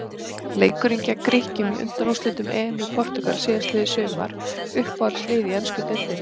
Leikurinn gegn Grikkjum í undanúrslitum EM í Portúgal síðastliðið sumar Uppáhaldslið í ensku deildinni?